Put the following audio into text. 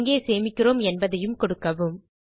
எங்கே சேமிக்கிறோம் என்பதையும் கொடுக்கவும்